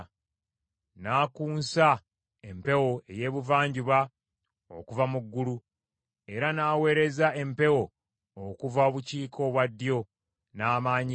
N’akunsa empewo ey’Ebuvanjuba okuva mu ggulu, era n’aweereza empewo okuva obukiika obwaddyo n’amaanyi ge.